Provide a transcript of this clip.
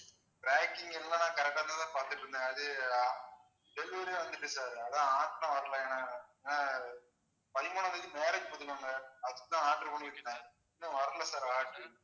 tracking எல்லாம் correct ஆ தான் பார்த்துட்டு இருந்தேன் அது ஆஹ் delivery ல வந்துச்சு sir அதான் order தான் வரல. ஆஹ் பதிமூணாம் தேதி marriage அப்படி தான் order பண்ணி வச்சுருந்தேன் இன்னும் வரல sir order உ